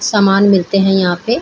सामान मिलते हैं यहाँ पे --